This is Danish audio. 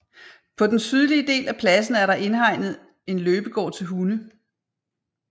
På den sydlige del af pladsen er der en indhegnet løbegård til hunde